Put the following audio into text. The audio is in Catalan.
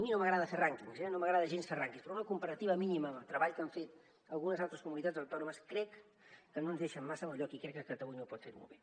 a mi no m’agrada fer rànquings eh no m’agrada gens fer rànquings però una comparativa mínima del treball que han fet algunes altres comunitats autònomes crec que no ens deixa en massa bon lloc i crec que catalunya ho pot fer molt bé